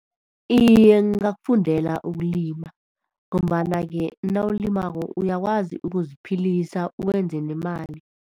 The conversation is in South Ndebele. Iye, ngingakufundela ukulima ngombana ke nawulimako uyakwazi ukuziphilisa uwenze nemali.